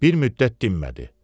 Bir müddət dinmədi.